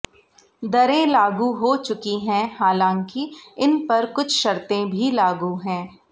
दरें लागू हो चुकी हैं हालांकि इन पर कुछ शर्तें भी लागू हैं